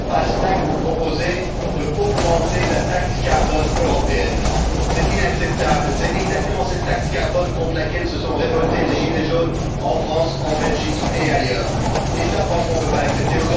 5? Vous proposez d'augmenter la taxe carbone européenne. C'est inacceptable. C'est exactement contre cette taxe carbone que se sont révoltés les gilets jaunes en France, en Belgique et ailleurs et cela, franchement, on ne peut pas l'accepter.